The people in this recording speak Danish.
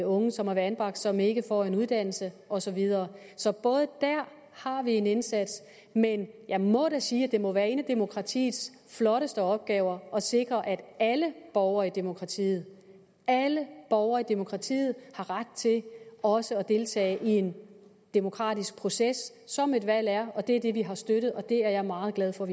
unge som har været anbragt og som ikke får en uddannelse og så videre så der har vi en indsats men jeg må da sige at det må være en af demokratiets flotteste opgaver at sikre at alle borgere i demokratiet alle borgere i demokratiet har ret til også at deltage i den demokratiske proces som et valg er og det er det vi har støttet og det er jeg meget glad for